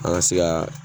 An ka se ka